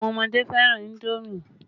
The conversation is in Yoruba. Àwọn ọmọdé fẹ́ràn indomi